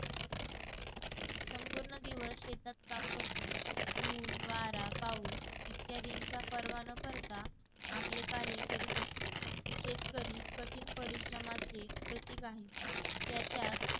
संपूर्ण दिवस शेतात काम करतो. ऊन, वारा, पाऊस इत्यादींचा पर्वा न करता आपले कार्य करीत असतो. शेतकरी कठीण परिश्रमाचे प्रतीक आहे. त्याच्यात